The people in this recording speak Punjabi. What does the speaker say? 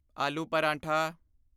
ਆਲੂ ਪਰਾਠਾ